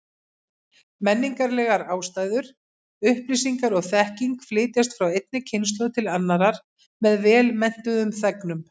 Menningarlegar ástæður: Upplýsingar og þekking flytjast frá einni kynslóð til annarrar með vel menntuðum þegnum.